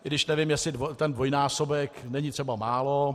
I když nevím, jestli ten dvojnásobek není třeba málo.